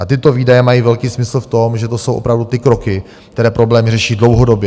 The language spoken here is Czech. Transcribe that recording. A tyto výdaje mají velký smysl v tom, že to jsou opravdu ty kroky, které problémy řeší dlouhodobě.